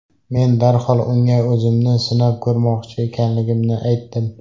Men darhol unga o‘zimni sinab ko‘rmoqchi ekanligimni aytdim.